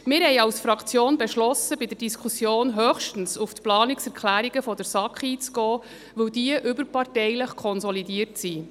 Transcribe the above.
Wir haben als Fraktion beschlossen, bei der Diskussion höchstens auf die Planungserklärungen der SAK einzugehen, weil diese überparteilich konsolidiert sind.